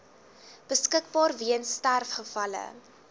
beskikbaar weens sterfgevalle